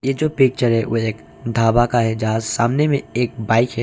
ये जो पिक्चर है वो एक ढाबा का है यहां सामने में एक बाइक है।